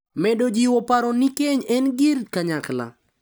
Medo jiwo paro ni keny en gir kanyakla.